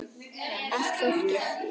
Allt fólkið.